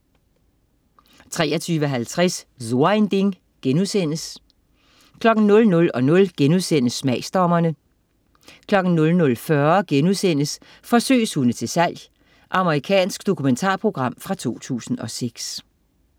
23.50 So ein Ding* 00.00 Smagsdommerne* 00.40 Forsøgshunde til salg.* Amerikansk dokumentarprogram fra 2006